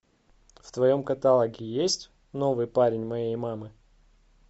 в твоем каталоге есть новый парень моей мамы